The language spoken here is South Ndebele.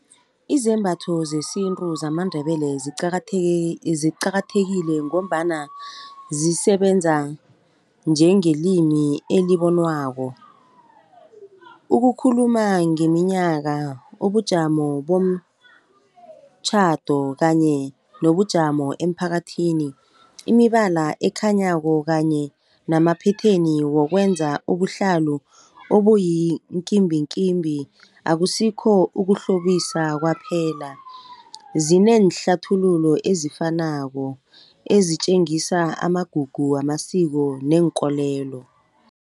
Izembatho zesintu zamaNdebele ziqakathekile, ngombana zisebenza njengelimi elibonwako. Ukukhuluma ngeminyaka, ubujamo bomtjhado kanye nobujamo emphakathini. Imibala ekhanyako kanye namaphetheni wokwenza ubuhlalu obuyinkimbinkimbi, akusikho ukuhlobisa kwaphela, zineenhlathululo ezifanako ezitjengisa amagugu wamasiko neenkolelo.